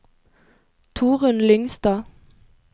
Torunn Lyngstad